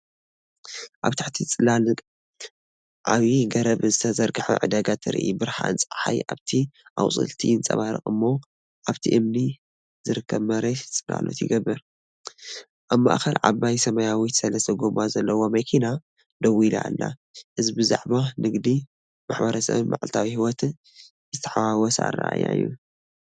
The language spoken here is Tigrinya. ኣብ ትሕቲ ጽላል ዓቢ ገረብ ዝተዘርግሐ ዕዳጋ ትርኢት። ብርሃን ጸሓይ ኣብቲ ኣቝጽልቲ ይንጸባረቕ እሞ፡ኣብቲ እምኒ ዚርከብ መሬት ጽላሎት ይገብር። ኣብ ማእከል ዓባይ ሰማያዊት ሰለስተ ጎማ ዘለዋ መኪና ደው ኢላ ኣላ፡እዚ ብዛዕባ ንግዲ፡ማሕበረሰብን መዓልታዊ ህይወትን ዝተሓዋወሰ ኣረኣእያ እዩ።